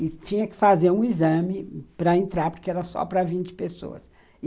E tinha que fazer um exame para entrar, porque era só para vinte pessoas.